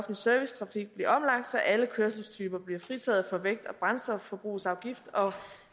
servicetrafik blive omlagt så alle kørselstyper bliver fritaget for vægt og brændstofforbrugsafgift og